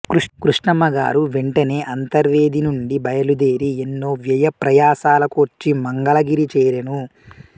కృష్ణమ్మగారు వెంటనే అంతర్వేదినుండి బయలుదేరి ఎన్నో వ్యయప్రయాసలకోర్చి మంగళగిరి చేరెను